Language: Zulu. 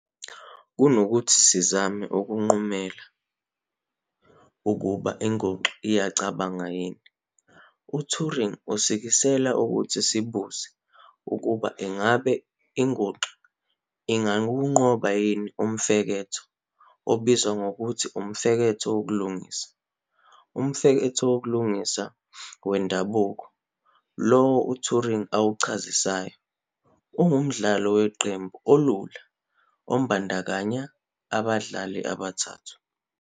Kunokuthi sizame ukunqumela ukuba inguxa iyacabanga yini, uTuring usikisela ukuthi sibuze ukuba ingabe inguxa ingawunqoba umfeketho obizwa ngokuthi "uMfeketho wokuLingisa". UMfeketho wokuLingisa wendabuko, lowo uTuring awuchazisayo, ungumdlalo weqembu olula obandakanya abadlali abathathu.